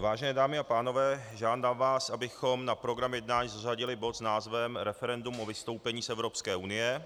Vážené dámy a pánové, žádám vás, abychom na program jednání zařadili bod s názvem Referendum o vystoupení z Evropské unie